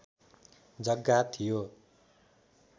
जग्गा थियो